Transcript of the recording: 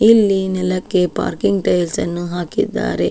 ಇಲ್ಲಿ ನೆಲಕ್ಕೆ parking tiles ಅನ್ನು ಹಾಕಿದ್ದಾರೆ.